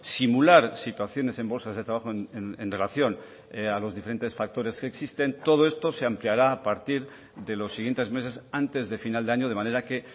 simular situaciones en bolsas de trabajo en relación a los diferentes factores que existen todo esto se ampliará a partir de los siguientes meses antes de final de año de manera que